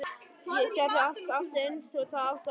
Gerði allt aftur eins og það átti að vera.